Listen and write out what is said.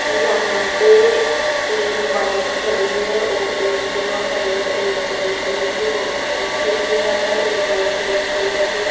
यहां पे तीन बाइक खड़ी है और एक्टिव खड़ी है एक ब्लैक कलर की अं एक्टिवा है एक वाइट कलर की --